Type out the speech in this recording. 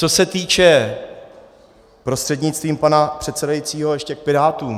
Co se týče, prostřednictvím pana předsedajícího, ještě k Pirátům.